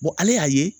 ale y'a ye